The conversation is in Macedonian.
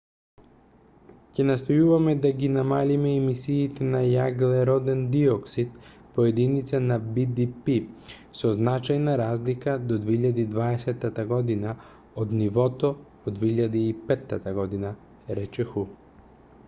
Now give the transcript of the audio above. ќе настојуваме да ги намалиме емисиите на јаглероден диоксид по единица на бдп со значајна разлика до 2020 г од нивото во 2005 г рече ху